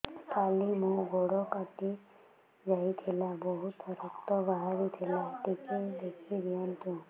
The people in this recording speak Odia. କାଲି ମୋ ଗୋଡ଼ କଟି ଯାଇଥିଲା ବହୁତ ରକ୍ତ ବାହାରି ଥିଲା ଟିକେ ଦେଖି ଦିଅନ୍ତୁ